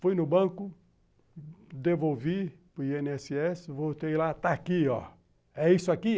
Fui no banco, devolvi para o i ene esse esse, voltei lá, está aqui, ó. É isso aqui?